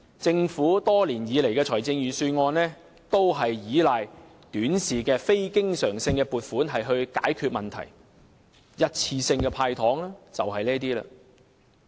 政府多年以來的預算案都是依賴短視的非經常性撥款解決問題，一次性的"派糖"便屬於這一類了。